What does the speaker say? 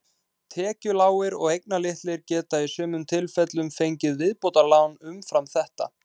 Tekjulágir og eignalitlir geta í sumum tilfellum fengið viðbótarlán umfram þetta.